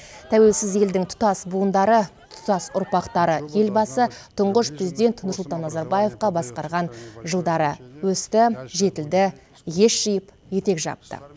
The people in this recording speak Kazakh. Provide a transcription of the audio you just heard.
тәуелсіз елдің тұтас буындары тұтас ұрпақтары елбасы тұңғыш президент нұрсұлтан назарбаевқа басқарған жылдары өсті жетілді ес жиып етек жапты